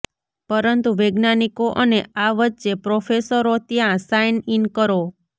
પરંતુ વૈજ્ઞાનિકો અને આ વચ્ચે પ્રોફેસરો ત્યાં સાઇન ઇન કરો